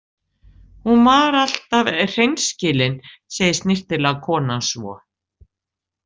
Hún var alltaf hreinskilin, segir snyrtilega konan svo.